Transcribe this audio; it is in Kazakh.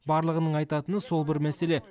барлығының айтатыны сол бір мәселе